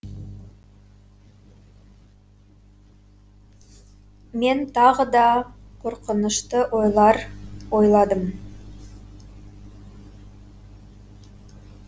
мен тағы да қорқынышты ойлар ойладым